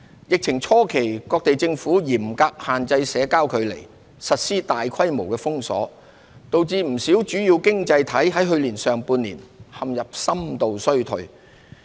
疫情初期各地政府嚴格限制社交距離，實施大規模封鎖，導致不少主要經濟體去年上半年陷入深度衰退。